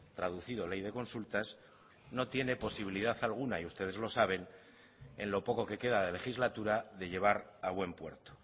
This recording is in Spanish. traducido ley de consultas no tiene posibilidad alguna y ustedes lo saben en lo poco que queda de legislatura de llevar a buen puerto